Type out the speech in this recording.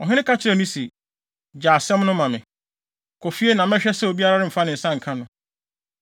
Ɔhene ka kyerɛɛ no se, “Gyae asɛm no ma me. Kɔ fie na mɛhwɛ sɛ obiara remfa ne nsa nka no.”